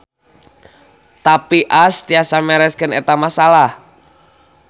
Tapi Ash tiasa mereskeun eta masalah.